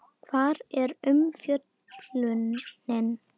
Hvar er umfjöllunin?